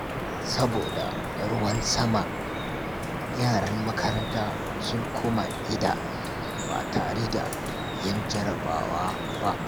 Saboda ruwan sama, yaran makaranta sun koma gida ba tare da yin jarabawa ba.